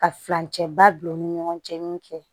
Ka furancɛba bila u ni ɲɔgɔn cɛ min kɛ